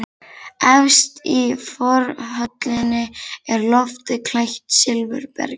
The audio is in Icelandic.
Efst í forhöllinni er loftið klætt silfurbergi.